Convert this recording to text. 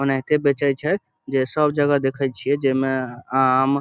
औने एते बेचे छै जे सब जगह देखय छीये जे मे आम --